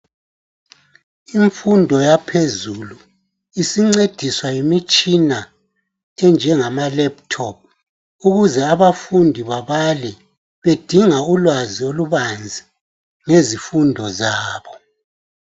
imfundo yaphezulu isincediswa yimitshina enjengama laptop ukuze abafundi bebale bedinga ulwazi olubazi ngezifundo zabo